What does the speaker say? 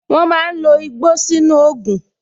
Wọn máa ń lo igbó sínú ògùn